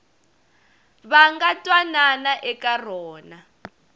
va nga twanana eka rona